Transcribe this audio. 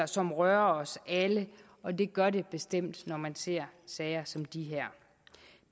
som rører os alle og det gør det bestemt når man ser sager som de her